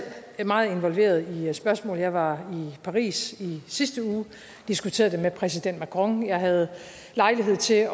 meget involveret i spørgsmålet jeg var i paris i sidste uge og diskuterede det med præsident macron jeg havde lejlighed til